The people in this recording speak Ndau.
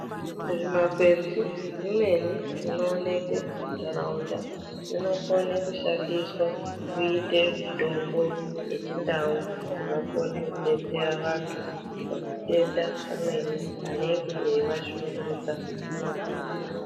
Zvimakwenzi zvimweni zvinooneke munharaunda zvinokona kushandiswa kuite mitombo yechindau inokona kubatsere vantu pamatenda amweni anenge eivashungurudza mumanharaunda.